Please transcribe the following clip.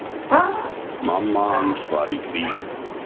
Mamma hans var í fríi.